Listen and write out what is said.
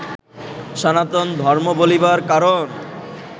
সনাতন ধর্ম বলিবার কারণ